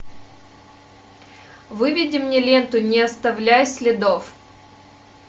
выведи мне ленту не оставляй следов